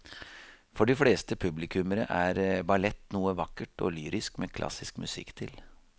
For de fleste publikummere er ballett noe vakkert og lyrisk med klassisk musikk til.